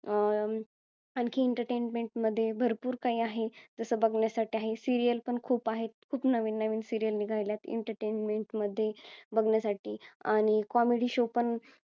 अं आणखी entertainment मध्ये भरपूर काही आहे जसं बघण्यासाठी आहे serial पण खूप आहेत खूप नवीन नवीन serial निघायलात entertainment मध्ये बघण्यासाठी आणि comedy show पण